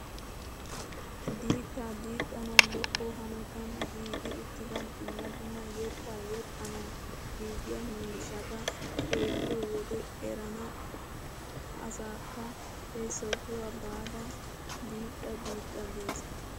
Diittaa diixanawu lo"o hanotan giigi uttida dumma dumma yettaa yexxanawu giigiyaa miishshata xeelliyoo wode erenna asakka he sohuwaa baada diixxa diixxa ges!